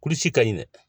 ka ɲi dɛ